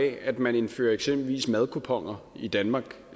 af at man indfører eksempelvis madkuponer i danmark